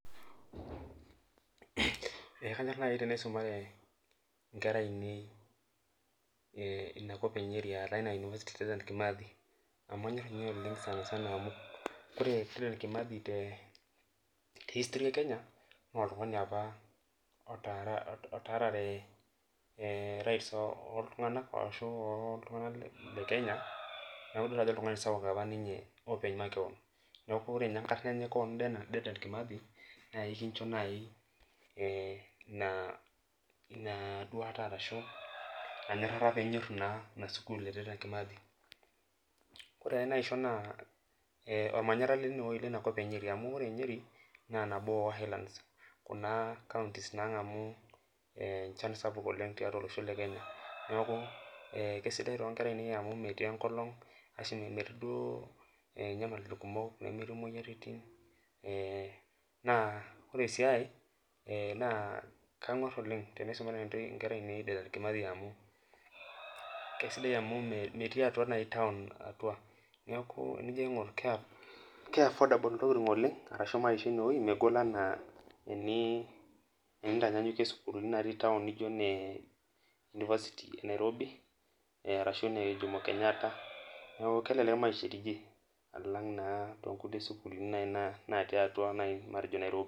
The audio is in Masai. Ee kanyor nai teniaumare nkera ainei inakop enyeri amu ore dedan kimathi te history e kenya na oltungani apa otaarare neaku kitadolu ajo oltungani sapuk apa ninye makeon neaku ore enkarna enye na ekisho nai peminyoru inasukul amu ore nyeri na nabo e highlands kuna kauntis nangamu enchan sapuk tolosho le Kenya na kesidai tonkera aainei amu metii nyamalitin kumok nemetii moyiaritin na ore si enkae na kangor oleng tenisumare nkera ainei amu metui atua taun oleng meaku enijo aingur megol maisha oleng tenintanyanyukie maisha natii sukulini etaun anaa university of Nairobi anaa jomokenyatta ashu nkulie sukulini natii atua nairobi